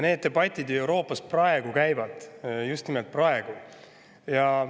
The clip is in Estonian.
Need debatid Euroopas käivad praegu.